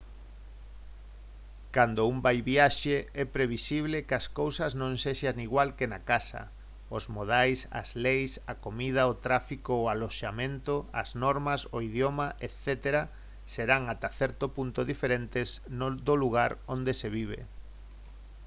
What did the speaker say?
cando un vai viaxe é previsible que as cousas non sexan igual que na casa os modais as leis a comida o tráfico o aloxamento as normas o idioma etc serán ata certo punto diferentes do lugar onde se vive